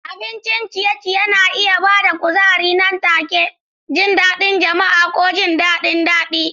Abincin ciye-ciye na iya ba da kuzari nan take, jin daɗin jama'a, ko jin daɗin jin daɗi.